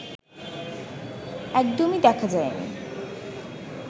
একদমই দেখা যায়নি